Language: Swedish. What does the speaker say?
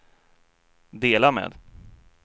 dela med